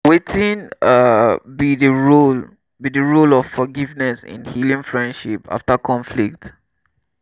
wetin um be di role be di role of forgiveness in healing friendship after conflict?